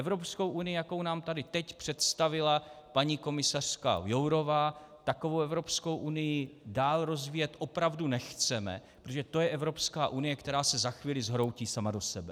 Evropskou unii, jakou nám tady teď představila paní komisařka Jourová, takovou Evropskou unii dál rozvíjet opravdu nechceme, protože to je Evropská unie, která se za chvíli zhroutí sama do sebe.